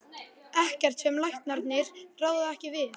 Ekkert sem læknarnir ráða ekki við.